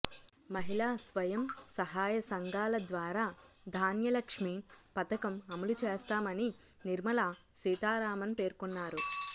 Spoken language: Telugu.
మహిళా స్వయం సహాయ సంఘాల ద్వారా ధాన్యలక్ష్మి పథకం అమలు చేస్తామని నిర్మలా సీతారామన్ పేర్కొన్నారు